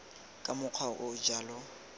ka mokgwa o o jalo